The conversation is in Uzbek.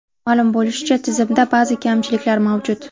Ma’lum bo‘lishicha, tizimda ba’zi kamchiliklar mavjud.